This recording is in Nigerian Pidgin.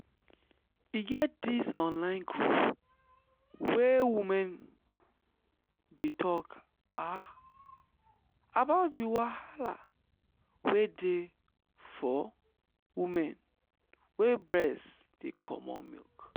e get this online group where women dey talk ah about the wahala wey dey for women wey breast dey comot milk.